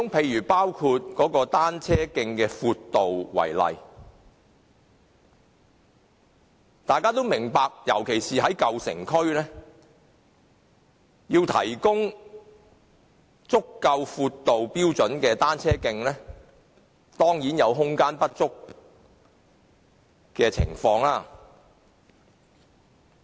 以單車徑的闊度為例，大家都明白，尤其是在舊城區，若要提供有足夠闊度的單車徑，當然會有空間不足的情況。